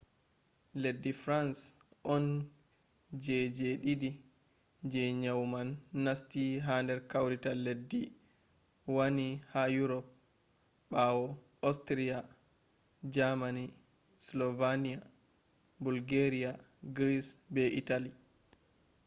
leddi frans on je je ɗiɗi je nyau man nasti ha nder kawrital leddi wani ha urop ɓawo ostriya jamani sloveniya bolgeriya gris be itali